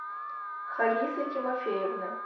халисы тимофеевны